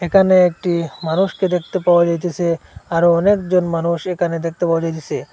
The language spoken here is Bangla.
এখানে একটি মানুষকে দেখতে পাওয়া যাইতেসে আরো অনেকজন মানুষ এখানে দেখতে পাওয়া যাইতেসে।